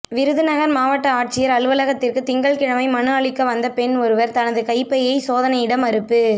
விருதுநகா் மாவட்ட ஆட்சியா் அலுவலகத்திற்கு திங்கள்கிழமை மனு அளிக்க வந்த பெண் ஒருவா் தனது கைப்பையை சோதனையிட மறுப்பு